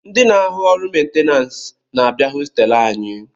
Ndi na-ahụ orụ mentenanse na-abịa hostelu anyị